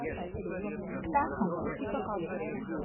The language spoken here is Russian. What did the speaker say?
птаха